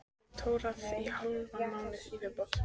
Get tórað í hálfan mánuð í viðbót.